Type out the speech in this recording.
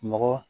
Mɔgɔ